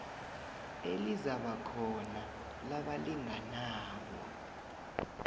elizakuba khona labalinganabo